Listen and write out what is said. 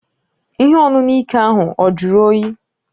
Ihe ọṅụṅụ ike ahụ ọ juru oyi?